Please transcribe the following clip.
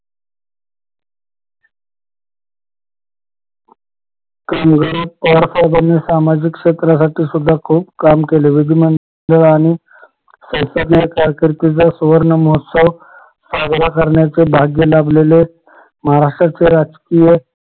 कामगार पवार साहेबानी सामाजिक क्षेत्रासाठी सुद्धा खूप काम केले विधिमंडळ आणि शैक्षणिक कारकिर्दीचा सुवर्ण महोत्सव साजरा करण्याचा भाग्य लाभलेले महाराष्ट्राचे राजकीय